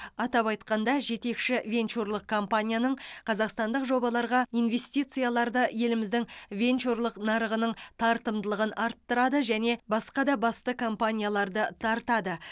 атап айтқанда жетекші венчурлық компанияның қазақстандық жобаларға инвестицияларды еліміздің венчурлық нарығының тартымдылығын арттырады және басқа да басты компанияларды тартады